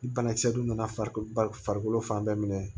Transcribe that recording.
Ni banakisɛ donna farikolo ba farikolo fan bɛɛ minɛ